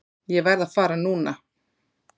Ég verð að fara núna!